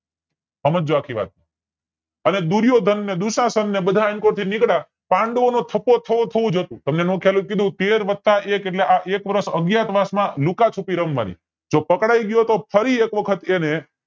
સમજજો આખી વાત અને દુર્યોધન અને દુશાશન બધા આન કોર થી નીકલ્યા પાંડવોનો થપ્પો થવો થવો જ હતો તમને નો ખ્યાલ હોય તો કય દવ તેર વત્તા એક એટલે આ એક વર્ષ અજ્ઞાતવાસ માં લુકાછૂપી રમવાની જો પકડાય ગયા તોય ફરી એક વખત એને